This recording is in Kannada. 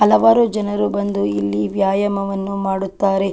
ಹಲವಾರು ಜನರು ಬಂದು ಇಲ್ಲಿ ವ್ಯಾಯಾಮವನ್ನು ಮಾಡುತ್ತಾರೆ.